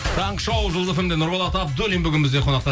таңғы шоу жұлдыз фм де нұрболат абдуллин бүгін бізде қонақта